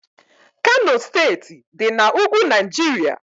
Kano steeti dị na ugwu Naijiria